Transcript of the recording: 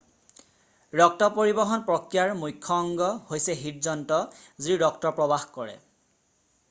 ৰক্ত পৰিবহণ প্ৰক্ৰিয়াৰ মুখ্য অংগ হৈছে হৃদযন্ত্ৰ যি ৰক্ত প্ৰবাহ কৰে